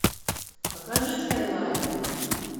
покажи скайлайн